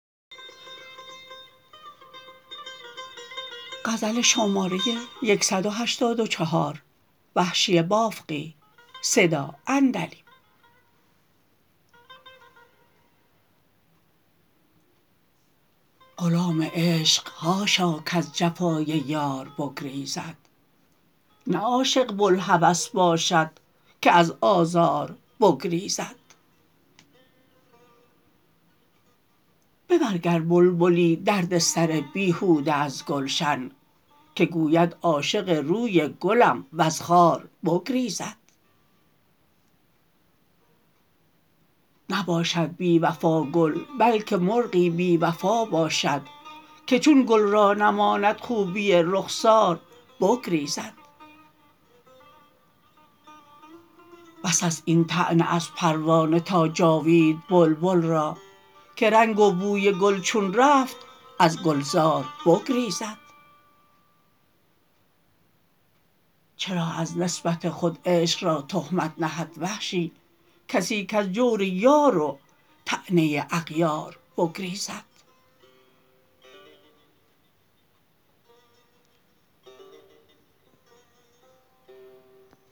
غلام عشق حاشا کز جفای یار بگریزد نه عاشق بلهوس باشد که از آزار بگریزد ببر گر بلبلی درد سر بیهوده از گلشن که گوید عاشق روی گلم و ز خار بگریزد نباشد بی وفا گل بلکه مرغی بی وفا باشد که چون گل را نماند خوبی رخسار بگریزد بس است این طعنه از پروانه تا جاوید بلبل را که رنگ و بوی گل چون رفت از گلزار بگریزد چرا از نسبت خود عشق را تهمت نهد وحشی کسی کز جور یار و طعنه اغیار بگریزد